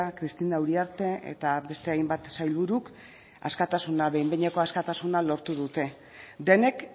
cristina uriarte eta beste hainbat sailburuk askatasuna behin behineko askatasuna lortu dute denek